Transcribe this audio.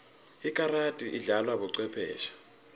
ikarati idlalwa bocwepheshe